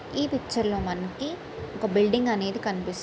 ఈ పిక్చర్లో మనకి ఒక బిల్డింగ్ అనేది కనిపిస్ --